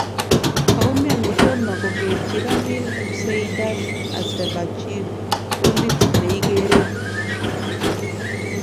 Koumian kotomo kokerchi Ramil Seydaev Azerbaijan kolit neigeree